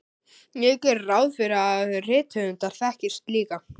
Ég geri ráð fyrir að rithöfundar þekkist líka.